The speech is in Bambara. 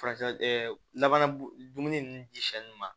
Farati labana dumuni ninnu diɲɛ ma